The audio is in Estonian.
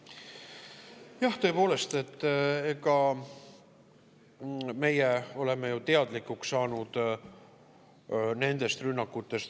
Jah, tõepoolest, meie oleme ju teadlikuks saanud rünnakutest.